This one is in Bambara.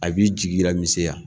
A b'i jigila misɛnya